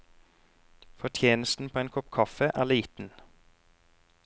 Fortjenesten på en kopp kaffe er liten.